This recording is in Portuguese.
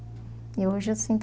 E hoje eu sinto